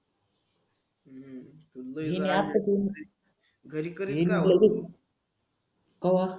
ही नी असं करूघरी कवा